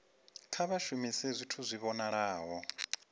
kha vha shumise zwithu zwi vhonalaho